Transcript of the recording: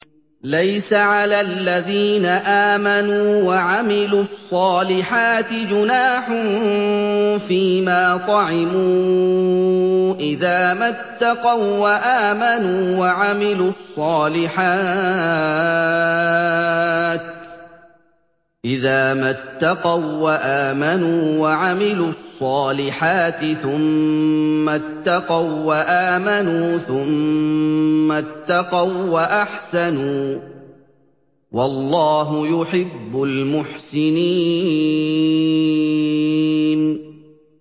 لَيْسَ عَلَى الَّذِينَ آمَنُوا وَعَمِلُوا الصَّالِحَاتِ جُنَاحٌ فِيمَا طَعِمُوا إِذَا مَا اتَّقَوا وَّآمَنُوا وَعَمِلُوا الصَّالِحَاتِ ثُمَّ اتَّقَوا وَّآمَنُوا ثُمَّ اتَّقَوا وَّأَحْسَنُوا ۗ وَاللَّهُ يُحِبُّ الْمُحْسِنِينَ